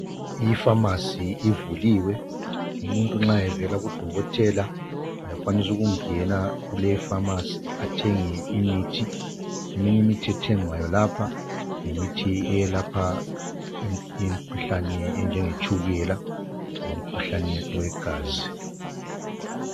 i phamarcy ivuliwe umuntu nxa evela ku dokotela uyakwanisa ukungena kuleyi i phamarcy athenge imithi eminye imithi ethengwayo lapha yimithi eyelapha imikhuhlane enjengetshukela lomkhuhlane wegazi